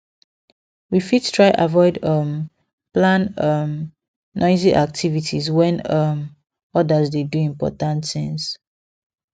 we fit try avoid um plan um noisy activities when um others dey do important things